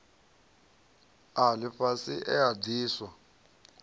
a lifhasi e a diswa